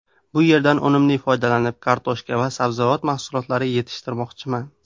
Bu yerdan unumli foydalanib, kartoshka va sabzavot mahsulotlari yetishtirmoqchiman.